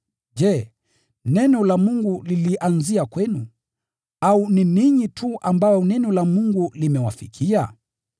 Je, neno la Mungu lilianzia kwenu? Au ni ninyi tu ambao neno la Mungu limewafikia?